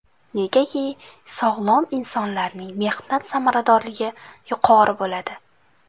Negaki, sog‘lom insonlarning mehnat samaradorligi yuqori bo‘ladi.